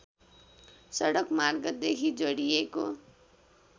सडक मार्गदेखि जोडिएको